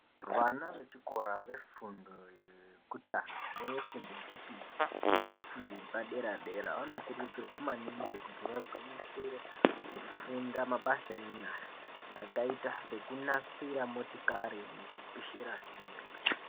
Vana vechikora vefundo yekutanga nefundo yechipiri, nefundo yepadera dera vanokurudzirwa maningi kuti vagwinyisire kufunda mabasa enyara, akaita sekunasira motikari nekupishira simbi.